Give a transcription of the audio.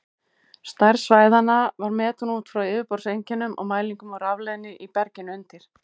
Stærð svæðanna var metin út frá yfirborðseinkennum og mælingum á rafleiðni í berginu undir.